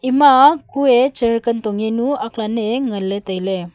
ema ah kuye chair kan tong nye nu ak lane nganley tailey.